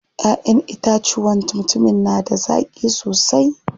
Ƴaʼƴen itacuwan mutumin na da zaƙi sosai.